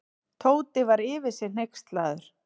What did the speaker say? Tóti var yfir sig hneykslaður.